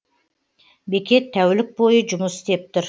бекет тәулік бойы жұмыс істеп тұр